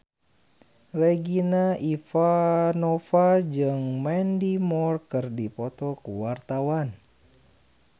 Regina Ivanova jeung Mandy Moore keur dipoto ku wartawan